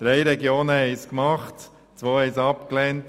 Drei Regionen haben dies getan, eine nicht und zwei haben es abgelehnt.